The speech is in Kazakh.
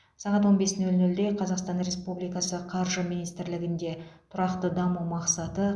сағат он бес нөл нөлде қазақстан республикасы қаржы министрлігінде тұрақты даму мақсаты